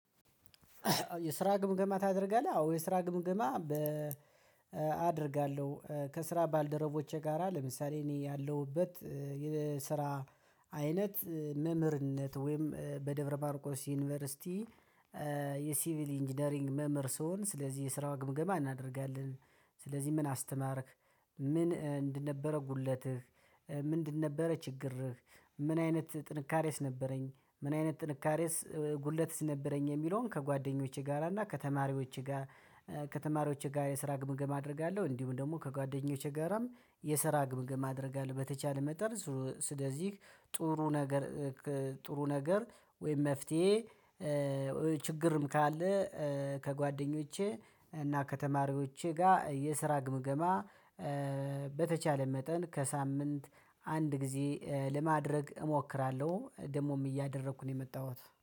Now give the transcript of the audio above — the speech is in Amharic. የስራ ግምገማ ታደርጋለህ? አዎ፣ የስራ ግምገማ አደርጋለሁ ከስራ ባልደረቦቼ ጋራ ለምሳሌ እኔ ያለሁበት የስራ አይነት መምህርነት ወይም በደብረማርቆስ ዩኒቨርሲቲ የሲቪል ኢንጂነሪንግ መምህር ስሆን ስለዚህ የስራው ግምገማ እናደርጋለን ስለዚህ ምን አስተማርክ ምንድንምነበረ ጉድለትህ ምን እንደነበረ ችግርህ ምን አይነት ጥንካሬስ ነበረኝ ምን አይነት ጥንካሬስ ጉድለትስ ነበረኝ የሚለውን ከጓደኞቼ ጋራ እና ከተማሪዎቼ ጋር ከተማሪዎቼ ጋር የስራ ግምገም አደርጋለሁ እንዲሁም ደግሞ ከጓደኞቼ ጋራም የሰራ ግምግማ አደርጋለሁ በተቻለ መጠን ስለዚህ ጥሩ ነገር ጥሩ ነገር ወይም መፍትሄ ችግርም ካለ ከጓደኞቼ እና ከተማሪዎቼ ጋር የስራ ግምገማ በተቻለ መጠን ከሳምንት አንድ ጊዜ ለማድረግ እሞክራለሁ ደግሞም እያደረኩ ነው የመጣሁት